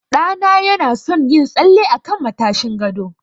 Ɗa na ya na son yin tsalle a kan matashin gado